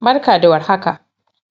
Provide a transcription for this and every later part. Barka da war haka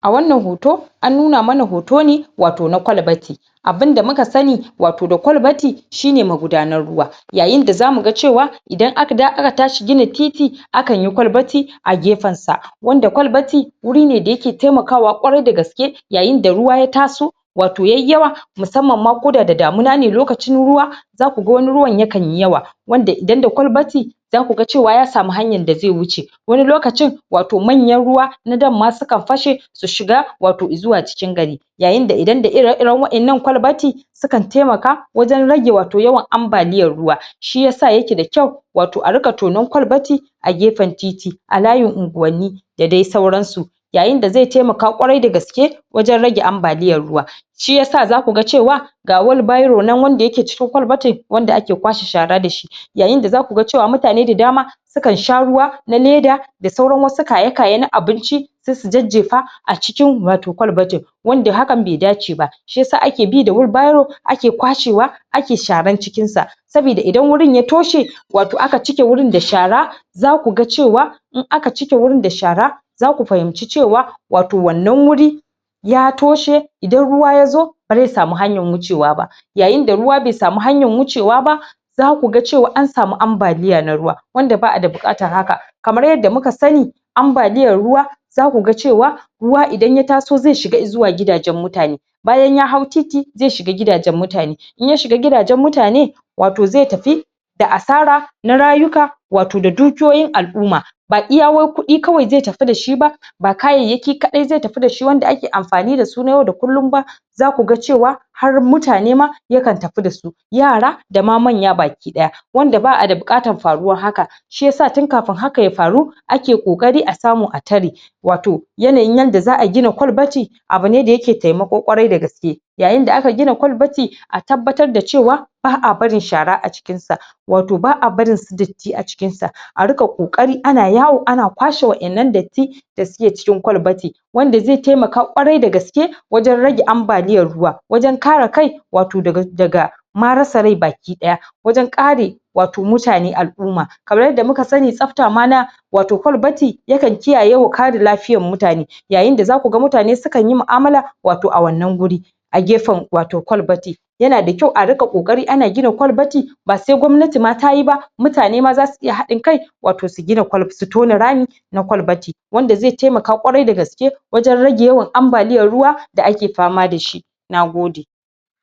a wannan hoto an nuna mana hoto ne wato na ƙwalbati abun da muka sani wato da kwalbati shine ma gudanar ruwa yayin da zamuga cewa idan aka tashi gina titi akan yi ƙwalbati a gefen sa wanda ƙwalbati wuri ne da yae taimaka wa ƙwarai dagaske yayin da ruwa ya taso wato yayyan musamman koda da damuna ne lokacin ruwa zaku ga wani ruwan yakan yi yawa wanda idan da ƙwalbati zaku ga cwa ya samu hanyan da zai wuce wani lokacin wato manyan ruwa na dam sukan fashe su shiga wato cikin gari yayin da idan da ire iren wa'enan ƙwalbati su kan taimaka wajen rega wato yawan ambaliyan ruwa shiyasa yake da kyau wato inga tonan ƙwalbati a gefen titi a layin unguwanni da dai sauran su yayin da zai tamaka ƙwarai dagaske wajen rage ambaliyan ruwa shiyasa zaku ga cewa ga wani biro nan wanda yake cikin ƙwalbatin wanda ake kwashe shara da shi yayin da zaku ga cewa mutane da dama su kan sha ruwa na leda da sauran wasu kayakaye na abinci sai su jefa a cikin wato kwalbatin wanda hakan bai dace ba shiyasa ake bi da wheelbarow ake kwashe wa ake sharan cikin sa sabida idan wurin ya toshe wato aka cike wurin da shara zaku ga cewa in aka cike wurin da shara zaku fahimci ce wa wato wannan wuri ya toshe idan ruwa yazo bazai samu hanyan wuce wa ba yayin da ruwa bai samu hanyan wuce wa ba zaku ga an samu ambaliya na ruwa wanda ba'a da bukatan haka kamar yadda muka sani ambaliyan ruwa zaku ga cewa ruwa idan ya taso zai shiga zuwa gidajen mutane bayan ya hau titi zai shiga gidajen mutane in ya shiga gidajen mutane wato zai tafi da asara na rayuka wato da dukiyoyin al'umma ba iya wai kudi kawai zai tafi dashi ba ba kayayyaki kadai zai tafi dashi ba wanda ake amfani da su na yau da kullum ba zaku ga cewa har mutane ma yakan tafi dasu yara da ma manya baki daya wanda ba'a da bukatan faruwan haka shiyasa tun kafun haka ya faru ake kokari a samu a tare wato yanayin yanda za'a gina ƙwalbati abune da yake da taimako ƙwarai dagaske yayin da aka gina ƙwalbati a tabbatar da cewa ba'a barin shara a cikin sa wato ba'a barin su datti a cikin sa a ringa kokari ana yawo ana kwashe wa'ennan datti da suke cikin ƙwalbati wanda zai tamaka ƙwarai dagaske wanjen rage ambaliyan ruwa wajen kare kai wato daga ma rasa rai baki daya wajen kare wato mutane al'umma kamar yadda muka sani tsafta ma na wato na ƙwalbati yakan kiyaye wa kare lafiyan mutane yayin da zaku ga mutane sukan yi mu'amala a wannan guri a gefen wato ƙwalbati yana da kyau a ringa kokari ana gina ƙwalbati ba sai gwammnati ma tatyi ba mutane ma zasu iya hadin kai wato su tona rami na ƙwalbati wanda zai taimaka ƙwarai dagaske wajen raje yawan ambaliyan ruwa da ake fama dashi nagode